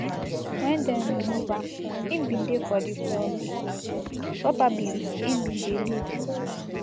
wen dem remove am im bin dey for di floor of di house probably im bin dey lead